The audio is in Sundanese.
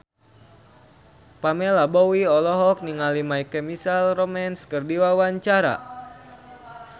Pamela Bowie olohok ningali My Chemical Romance keur diwawancara